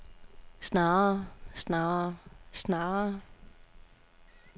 snarere snarere snarere